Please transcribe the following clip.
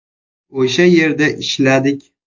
O‘sha yerda ishladik.